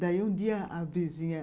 Daí um dia a vizinha,